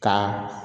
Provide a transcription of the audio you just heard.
Ka